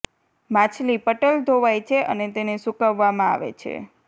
માછલી પટલ ધોવાઇ છે અને તેને સૂકવવામાં આવે છે